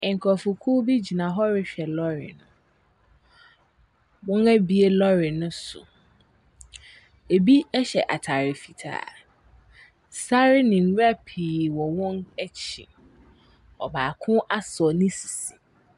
Nkrɔfokuw bi gyna hɔ rehwɛ lɔɔre. Wɔabue lɔɔre no so. Ebi hyɛ ataare fitaa. Ebi hyɛ ataare fitaa, sare nwura pii wɔ wɔn akyi. Ɔbaako asɔ ne sisi.